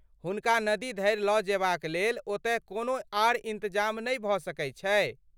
हुनका नदी धरि लऽ जेबाक लेल ओतय कोनो आर इन्तजाम नहि भऽ सकैत छै?